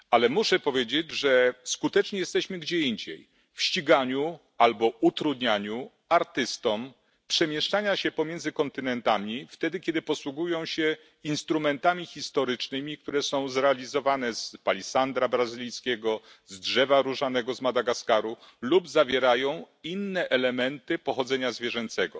Ale muszę powiedzieć, że skuteczni jesteśmy gdzie indziej w ściganiu albo utrudnianiu artystom przemieszczania się między kontynentami, wtedy kiedy posługują się instrumentami historycznymi, które są zrealizowane z palisandru brazylijskiego, z drzewa różanego z Madagaskaru lub zawierają inne elementy pochodzenia zwierzęcego.